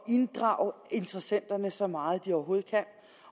inddrage interessenterne så meget som de overhovedet kan